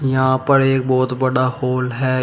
यहां पर एक बहुत बड़ा हॉल है।